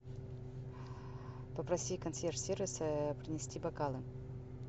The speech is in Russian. попроси консьерж сервис принести бокалы